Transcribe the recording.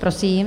Prosím.